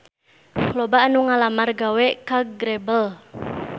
Loba anu ngalamar gawe ka Grebel